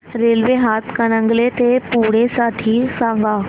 railway Hatkanangale ते पुणे साठी सांगा